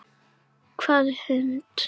Hvaða hund?